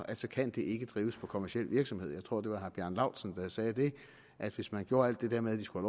at så kan det ikke drives kommerciel virksomhed jeg tror at det var herre bjarne laustsen der sagde at hvis man gjorde alt det der med at de skulle